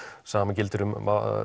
sama gildir um